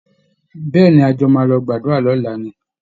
Bẹ́ẹ̀ ni, a jọ máa lọ gbàdúra lọ́la ni